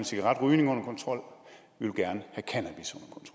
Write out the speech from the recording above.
cigaretrygning under kontrol